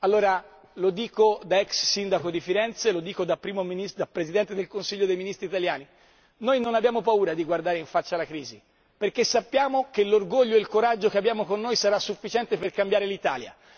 Allora, lo dico da ex sindaco di Firenze e lo dico da Presidente del Consiglio dei Ministri italiano noi non abbiamo paura di guardare in faccia alla crisi, perché sappiamo che l'orgoglio e il coraggio che abbiamo con noi sarà sufficiente per cambiare l'Italia.